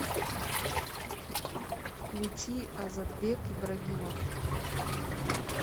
включи озодбек ибрагимов